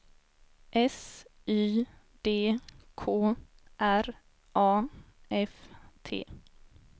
S Y D K R A F T